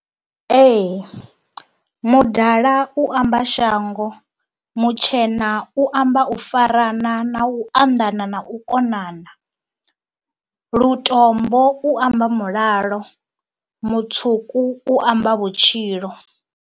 Ee, mudala u amba shango, mutshena u amba u farana na u anḓana na u konana, lutombo u amba mulalo, mutswuku u amba vhutshilo.